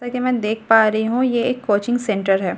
कि मैं देख पा रही हूं ये एक कोचिंग सेंटर है।